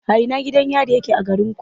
A ina gidan yari yake a garinku?